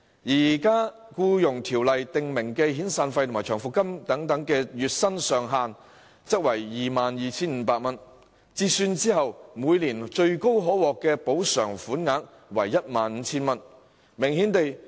現時《僱傭條例》訂明，遣散費和長服金的月薪上限為 22,500 元，折算後每年最高可獲補償為 15,000 元。